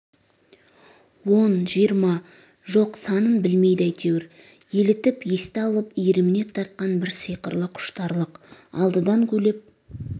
он жиырма жоқ санын білмейді әйтеуір елітіп есті алып иіріміне тартқан бір сиқырлы құштарлық алдыдан гулеп